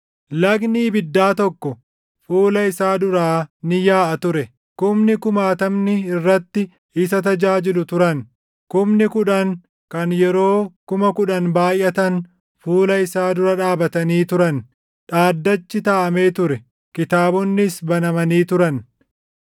Lagni ibiddaa tokko fuula isaa duraa ni yaaʼa ture. Kumni kumaatamni irratti isa tajaajilu turan; kumni kudhan kan yeroo kuma kudhan baayʼatan // fuula isaa dura dhaabatanii turan. Dhaddachi taaʼamee ture; kitaabonnis banamanii turan.